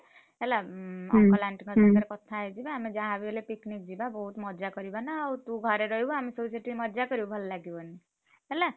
ହେଲା ଉଁ uncle, aunty ଙ୍କ ସାଙ୍ଗରେ କଥା ହେଇଯିବା। ଆମେ ଯାହା ବି ହେଲେ picnic ଯିବା ବହୁତ୍ ମଜା କରିବା ନା ଆଉ ତୁ ଘରେ ରହିବୁ ଆମେ ସବୁ ସେଠି ମଜା କରିବୁ ଭଲ ଲାଗିବନି। ହେଲ!